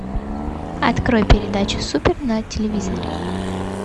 открой передачу супер на телевизоре